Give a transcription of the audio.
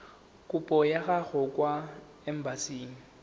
kopo ya gago kwa embasing